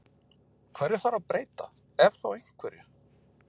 Hverju þarf að breyta ef þá einhverju?